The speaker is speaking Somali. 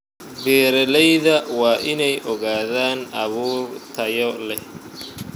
Beeralayda waa inay ogaadaan abuur tayo leh.